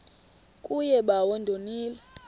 kuye bawo ndonile